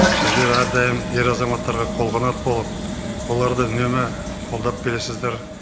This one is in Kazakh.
сіздер әрдайым ер азаматтарға қолғанат болып оларды үнемі қолдап келесіздер